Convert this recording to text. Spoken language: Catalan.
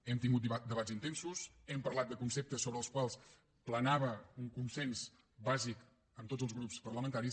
hem tingut debats intensos hem parlat de conceptes sobre els quals planava un consens bàsic amb tots els grups parlamentaris